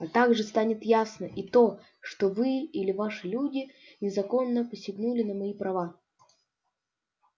а также станет ясно и то что вы или ваши люди незаконно посягнули на мои права